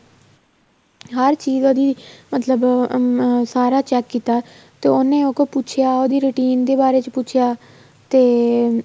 ਹਰ ਚੀਜ਼ ਉਹਦੀ ਮਤਲਬ ਅਹ ਸਾਰਾ check ਕੀਤਾ ਤੇ ਉੰਨੇ ਅੱਗੋ ਪੁੱਛਿਆ ਉਹਦੀ routine ਦੇ ਬਾਰੇ ਪੁੱਛਿਆ ਤੇ